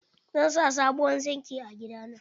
Zan sa sabuwar zingi a gida na.